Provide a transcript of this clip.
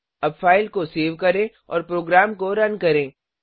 अब फाइल को सेव करें और प्रोग्राम को रन करें